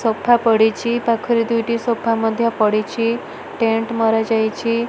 Sofa ପଡ଼ିଚି ପାଖରେ ଦୁଇଟି ସୋଫା ମଧ୍ୟ ପଡ଼ିଚି ଟେଣ୍ଟ ମରାଯାଇଚି ।